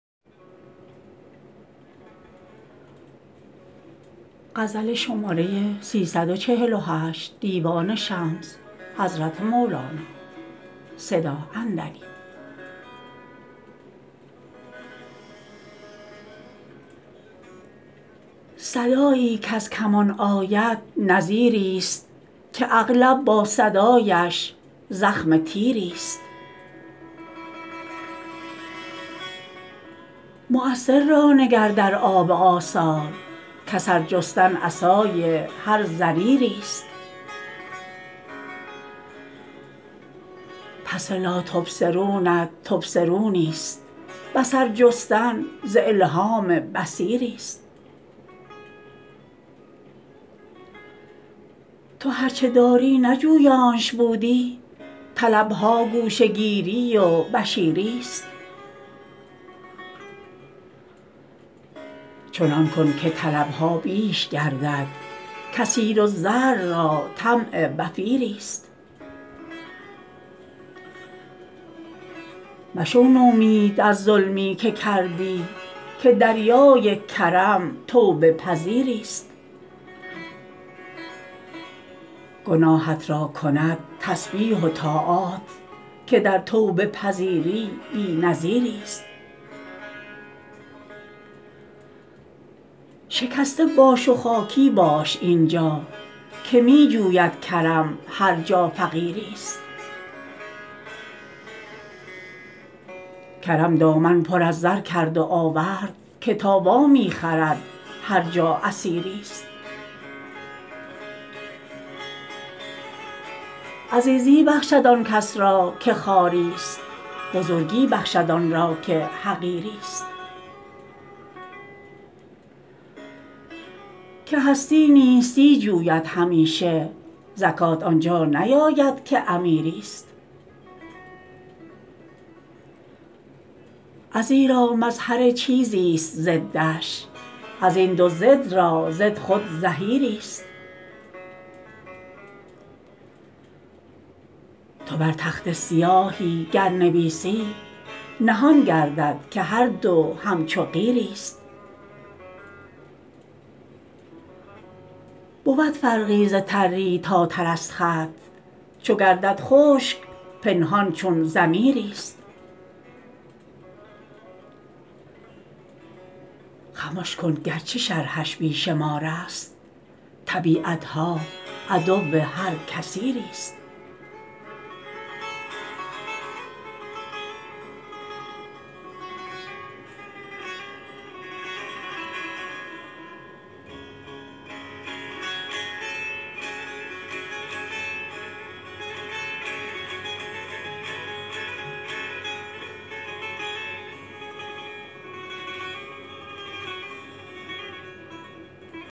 صدایی کز کمان آید نذیریست که اغلب با صدایش زخم تیریست مؤثر را نگر در آب آثار کاثر جستن عصای هر ضریریست پس لا تبصرونت تبصرونی ست بصر جستن ز الهام بصیریست تو هر چه داری نه جویانش بودی طلب ها گوش گیری و بشیریست چنان کن که طلب ها بیش گردد کثیرالزرع را طمع وفیریست مشو نومید از ظلمی که کردی که دریای کرم توبه پذیریست گناهت را کند تسبیح و طاعات که در توبه پذیری بی نظیریست شکسته باش و خاکی باش این جا که می جوید کرم هر جا فقیریست کرم دامن پر از زر کرد و آورد که تا وا می خرد هر جا اسیریست عزیزی بخشد آن کس را که خواری ست بزرگی بخشد آن را که حقیریست که هستی نیستی جوید همیشه زکات آن جا نیاید که امیریست ازیرا مظهر چیزیست ضدش از این دو ضد را ضد خود ظهیریست تو بر تخته سیاهی گر نویسی نهان گردد که هر دو همچو قیریست بود فرقی ز تری تا ترست خط چو گردد خشک پنهان چون ضمیریست خمش کن گرچه شرحش بی شمارست طبیعت ها عدو هر کثیریست